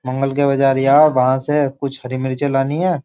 मंगल के बाज़ार जा और वहां से कुछ हरी मिर्ची लानी हैं।